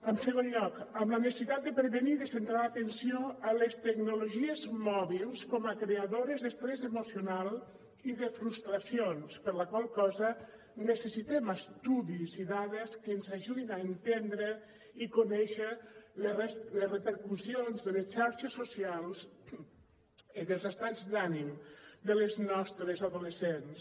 en segon lloc la necessitat de prevenir i de centrar l’atenció en les tecnologies mòbils com a creadores d’estrès emocional i de frustracions per la qual cosa necessitem estudis i dades que ens ajudin a entendre i conèixer les repercussions de les xarxes socials en els estats d’ànim de les nostres adolescents